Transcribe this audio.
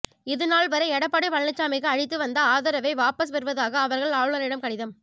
இதுநாள்வரை எடப்பாடி பழனிசாமிக்கு அளித்து வந்த ஆதரவை வாபஸ் பெறுவதாக அவர்கள் ஆளுநரிடம் கடிதம்